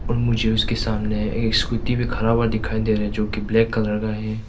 मुझे उसके सामने एक स्कूटी भी खरा हुआ दिखाई दे रहे है जो की ब्लैक कलर का है।